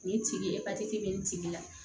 Nin tigi ye bɛ nin tigi la